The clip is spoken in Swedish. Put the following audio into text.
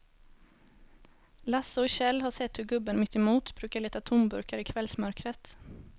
Lasse och Kjell har sett hur gubben mittemot brukar leta tomburkar i kvällsmörkret.